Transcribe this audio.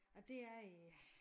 Og det er øh